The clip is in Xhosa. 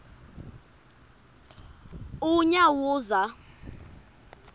unyawuza